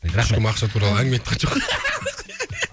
рахмет ешкім ақша туралы әңгіме айтқан жоқ қой